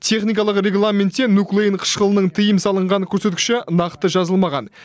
техникалық регламентте нуклеин қышқылының тыйым салынған көрсеткіші нақты жазылмаған